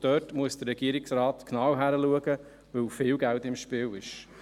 Dort muss der Regierungsrat genau hinschauen, weil viel Geld im Spiel ist.